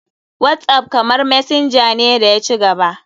Whatsapp kamar messenger ne da ya ci gaba.